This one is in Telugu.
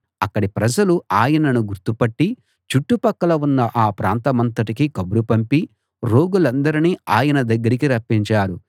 అక్కడి ప్రజలు ఆయనను గుర్తుపట్టి చుట్టుపక్కల ఉన్న ఆ ప్రాంతమంతటికీ కబురు పంపి రోగులందరినీ ఆయన దగ్గరికి రప్పించారు